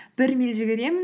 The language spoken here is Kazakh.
бір миль жүгіремін